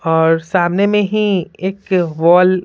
और सामने में ही एक वॉल --